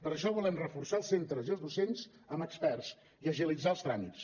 per això volem reforçar els centres i els docents amb experts i agilitzar els tràmits